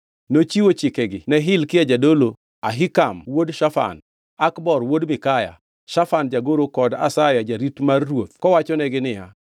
Nochiwo chikegi ne Hilkia jadolo, Ahikam wuod Shafan, Akbor wuod Mikaya, Shafan jagoro kod Asaya jarit mar ruoth kowachonegi niya,